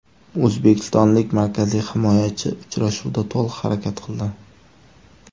O‘zbekistonlik markaziy himoyachi uchrashuvda to‘liq harakat qildi.